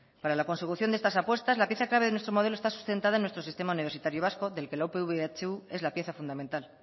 para la consecución de estas apuestas la pieza clave de nuestro modelo está sustentando en nuestro sistema universitario vasco del que la upv ehu es la pieza fundamental